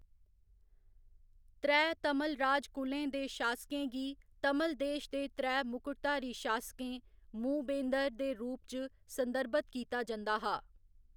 त्रैऽ तमिल राज कुलें दे शासकें गी तमिल देश दे त्रैऽ मुकुटधारी शासकें मू वेंदर दे रूप च संदर्भित कीता जंदा हा।